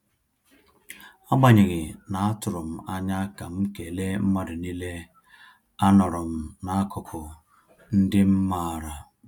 Agbanyeghi na-atụrụ anya ka m kele mmadụ niile,a nọrọm n'akụkụ ndị m maara